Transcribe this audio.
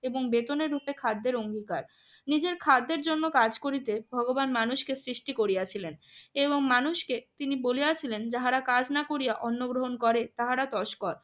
এবং বেতনের রূপে খাদ্যের অঙ্গীকার। নিজের খাদ্যের জন্য কাজ করিতে ভগবান মানুষকে সৃষ্টি করিয়াছিলেন এবং মানুষকে তিনি বলেছিলেন যাহারা কাজ না করিয়া অন্ন গ্রহণ করে তাহারা তসস্কর।